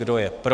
Kdo je pro.